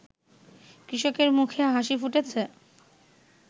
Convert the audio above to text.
কৃষকের মুখে হাসি ফুটেছে